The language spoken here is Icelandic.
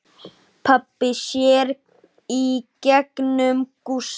Pabbi sér í gegnum Gústa.